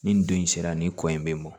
Ni nin don in sera nin kɔ in bɛ mɔn